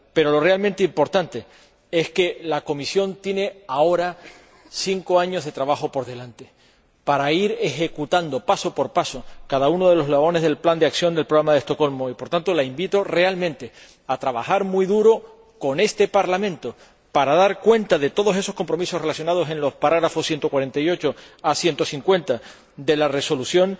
Pero lo realmente importante es que la Comisión tiene ahora cinco años de trabajo por delante para ir ejecutando, paso por paso, cada uno de los eslabones del Plan de Acción del Programa de Estocolmo y, por tanto, la invito realmente a trabajar muy duro con este Parlamento para dar cuenta de todos esos compromisos relacionados en los apartados 148 a 150 de la Resolución,